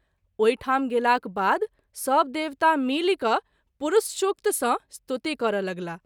ओहि ठाम गेलाक बाद सभ देवता मिलि क’ पुरूषशुक्त सँ स्तुति करय लगलाह।